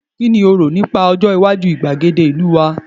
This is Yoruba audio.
ki lo ro nipa Ojo iwaju igbagede ìlú wa